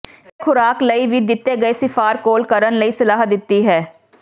ਇਹ ਖੁਰਾਕ ਲਈ ਵੀ ਦਿੱਤੇ ਗਏ ਿਸਫ਼ਾਰ ਕੋਲ ਕਰਨ ਲਈ ਸਲਾਹ ਦਿੱਤੀ ਹੈ